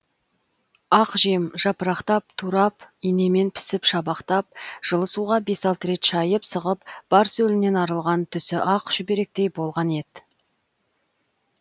ақ жем жапырақтап турап инемен пісіп шабақтап жылы суға бес алты рет шайып сығып бар сөлінен арылған түсі ақ шүберектей болған ет